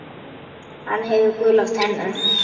Hann hefur gular tennur.